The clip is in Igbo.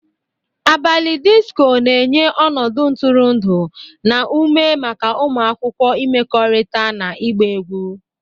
Abalị disko na-enye ọnọdụ ntụrụndụ na ume maka ụmụ akwụkwọ ịmekọrịta na ịgba egwu.